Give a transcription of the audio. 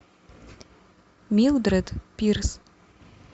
милдред пирс